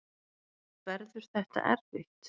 Verður þetta erfitt?